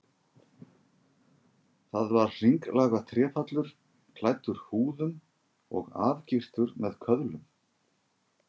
Það var hringlaga trépallur, klæddur húðum og afgirtur með köðlum.